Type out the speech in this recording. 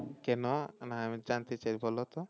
কেন? মানে আমি জানতে চাই বলো তো